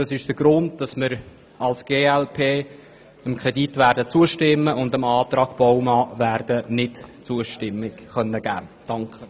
Das ist der Grund, warum wir als glp diesem Kredit zustimmen und den Antrag Baumann ablehnen werden.